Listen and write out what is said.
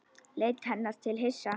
Leit til hennar hissa.